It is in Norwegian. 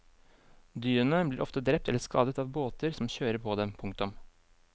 Dyrene blir ofte drept eller skadet av båter som kjører på dem. punktum